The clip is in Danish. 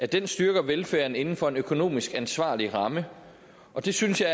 den styrker velfærden inden for en økonomisk ansvarlig ramme og det synes jeg